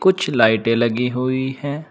कुछ लाइटें लगी हुई हैं।